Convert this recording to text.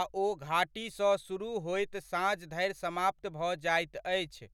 आ ओ घाटीसँ सुरुह होइत साँझ धरि समाप्त भऽ जाइत अछि।